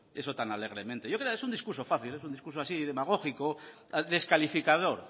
eso tan alegremente yo quería es un discurso fácil es un discurso así demagógico descalificador